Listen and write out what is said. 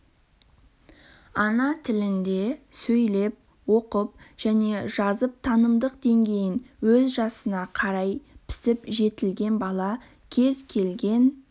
ана тілінде сөйлеп оқып және жазып танымдық деңгейін өз жасына қарай пісіп жетілген бала кез келген